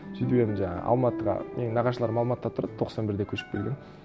сөйтіп енді жаңағы алматыға менің нағашыларым алматыда тұрады тоқсан бірде көшіп келген